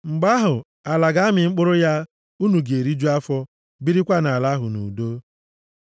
Mgbe ahụ, ala ga-amị mkpụrụ ya, unu ga-eriju afọ, birikwa nʼala ahụ nʼudo.